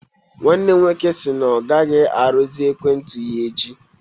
Nwanne m nwoke si na ọ ga-arụzi ekwentị ya echi.